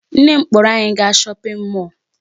Nne m kpọrọ anyị gaa shopping mall.